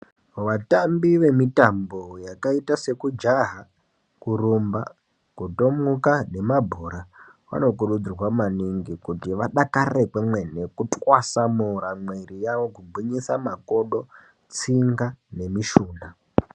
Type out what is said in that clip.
Vatambi vemitambo yakaita sekujaha, kurumba, kutomuka nemabhora vanokurudzirwa maningi kuti vadakarire kwemene kutwasanura mwiri yavo kugwinyisa makodo, tsunga nemishuna.